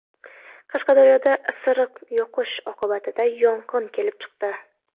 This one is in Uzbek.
Qashqadaryoda isiriq yoqish oqibatida yong‘in kelib chiqdi.